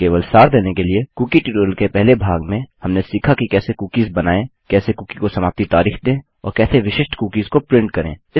केवल सार देने के लिए कुकी ट्यूटोरियल के पहले भाग में हमने सीखा कि कैसे कुकीस बनाएँ कैसे कुकी को समाप्ति तारिख दें और कैसे विशिष्ट कुकीस को प्रिंट करें